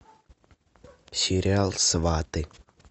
сериал сваты